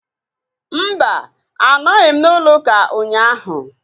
Mba, anọghị m n'ụlọ ụka ụnyaahụ